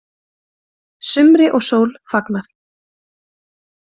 Sumri og sól fagnað